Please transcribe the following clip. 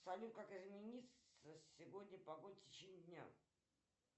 салют как изменится сегодня погода в течение дня